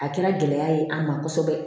A kɛra gɛlɛya ye an ma kosɛbɛ